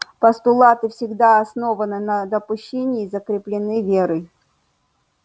постулаты всегда основаны на допущении и закреплены верой